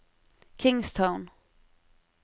Kingstown